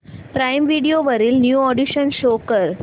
prime Video वरील new additions show कर